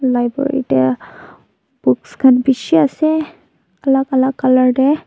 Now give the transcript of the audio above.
library tae books khan bishi ase alak alak colour tae.